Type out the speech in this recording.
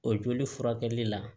O joli furakɛli la